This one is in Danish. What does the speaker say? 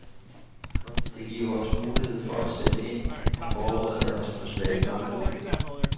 Det giver os mulighed for at sætte ind og forbedre os på svage punkter.